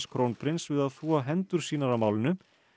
krónprins við að þvo hendur sínar af málinu